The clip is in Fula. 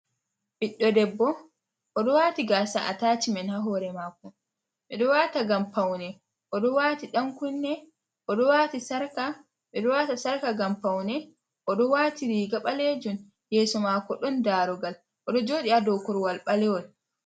Ɓiɗɗo debbo o ɗo waati gaasa atashmen ha hoore maako. Ɓe ɗo waata ngam paune. O ɗo waati ɗan kunne. O ɗo waata sarƙa ngam paune. O ɗo waati riiga ɓaleejum, yeso mako ɗon daruugal, o ɗo jooɗi ha dou korwal ɓalewol.